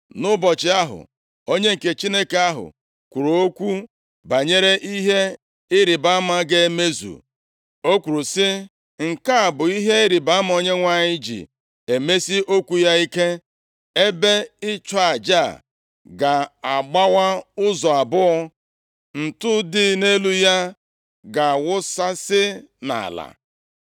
Nʼụbọchị ahụ, onye nke Chineke ahụ kwuru okwu banyere ihe ịrịbama ga-emezu. O kwuru sị, “Nke a bụ ihe ịrịbama Onyenwe anyị ji emesi okwu ya ike: Ebe ịchụ aja a ga-agbawa ụzọ abụọ. Ntụ dị nʼelu ya ga-awụsasị nʼala.”